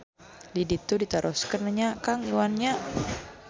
Di ditu ditaroskeun nya Kang Iwan nya.